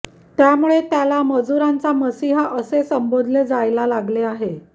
त्यामुळे त्याला मजूरांचा मसिहा असे संबोधले जायला लागले आहे